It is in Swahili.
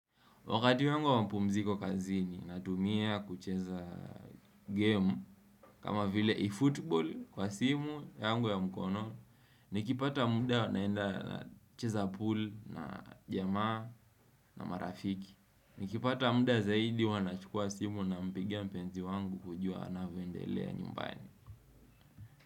Wakati wangu wa mapumziko kazini natumia kucheza game kama vile e-football kwa simu yangu ya mkono. Nikipata mda naenda nacheza pool na jamaa na marafiki. Nikipata mda zaidi huwa nachukua simu nampigia mpenzi wangu kujua anavyoendelea nyumbani.